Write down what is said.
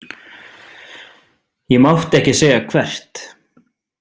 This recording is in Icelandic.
Ég mátti ekki segja hvert.